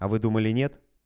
а вы думали нет